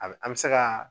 A bɛ an bɛ se ka